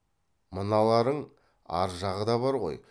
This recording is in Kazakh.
мыналарың ар жағы да бар ғой